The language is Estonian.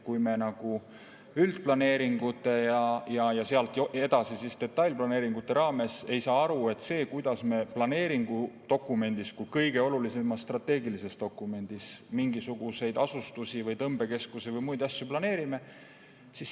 Kui me üldplaneeringute ja sealt edasi detailplaneeringute puhul ei saa aru, et see, kuidas me planeeringudokumendis kui kõige olulisemas strateegilises dokumendis mingisuguseid asustusi või tõmbekeskusi või muid asju planeerime,.